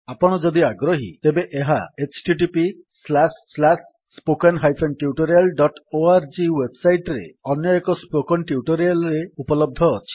ଆପଣ ଯଦି ଆଗ୍ରହୀ ତେବେ ଏହା httpspoken tutorialorg ୱେବ୍ ସାଇଟ୍ ରେ ଅନ୍ୟଏକ ସ୍ପୋକେନ୍ ଟ୍ୟୁଟୋରିଆଲ୍ ରେ ଉପଲବ୍ଧ ଅଛି